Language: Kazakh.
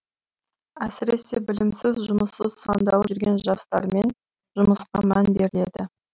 әсіресе білімсіз жұмыссыз сандалып жүрген жастармен жұмысқа мән беріледі